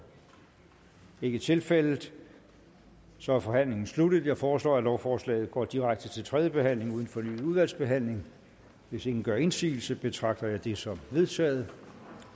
det er ikke tilfældet så er forhandlingen sluttet jeg foreslår at lovforslaget går direkte til tredje behandling uden fornyet udvalgsbehandling hvis ingen gør indsigelse betragter jeg det som vedtaget